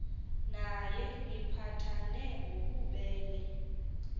naye niphathane ngobubele